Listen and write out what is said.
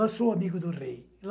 Lá sou amigo do rei.